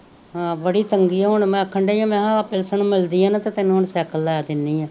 ਹਮ ਬੜੀ ਤੰਗੀ ਆ ਉਹਨੂੰ ਮੈਂ ਆਖਣ ਡੀ ਆ ਮਹਾ ਆ ਪਿਲਸਨ ਮਿਲਦੀ ਆ ਨਾ ਤੇ ਤੈਨੂੰ ਹੁਣ ਸੈਕਲ ਲੈ ਦੇਨੀ ਆ